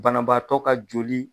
Banabaatɔ ka joli